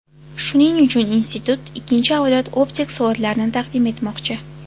Shuning uchun institut ikkinchi avlod optik soatlarini taqdim etmoqchi.